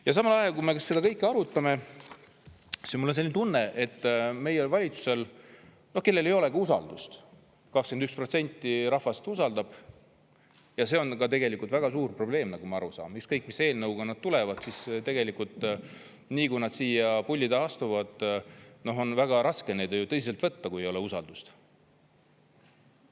Ja samal ajal, kui me seda kõike arutame, mul on selline tunne, et meie valitsusel, kellel ei olegi usaldust – 21% rahvast usaldab –, ja see on tegelikult väga suur probleem, nagu ma aru saan, ükskõik, mis eelnõuga nad tulevad, siis tegelikult, nii kui nad siia puldi taha astuvad, on väga raske neid tõsiselt võtta, kui ei ole usaldust.